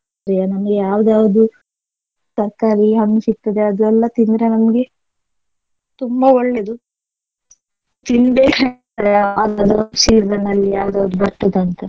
ನಮಗೆ ಯಾವ್ದ್ ಯಾವ್ದು ತರ್ಕಾರಿ ಹಣ್ಣು ಸಿಗ್ತದೆ ಅದೆಲ್ಲಾ ತಿಂದ್ರೆ ನಮ್ಗೆ ತುಂಬಾ ಒಳ್ಳೆದು season ಅಲ್ಲಿ ಯಾವ್ದ್ ಯಾವ್ದು ಬರ್ತದೆ ಅಂತ.